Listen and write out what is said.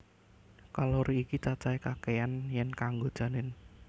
Kalori iki cacahé kakéyan yèn kanggo janin